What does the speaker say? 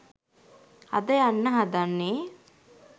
අද යන්න හදන්නේ